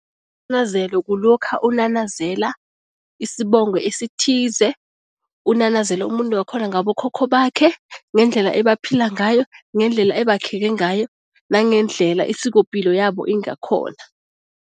Isinanazelo kulokha unanazela isibongo esithize, unanazela umuntu wakhona ngabokhokho bakhe, ngendlela ebaphila ngayo, ngendlela abakheke ngayo nangendlela isikopilo yabo ingakhona.